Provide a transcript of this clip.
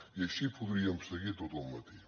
i així podríem seguir tot el matí